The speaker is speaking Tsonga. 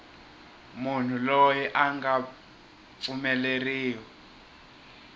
munhu loyi a nga pfumeleriwa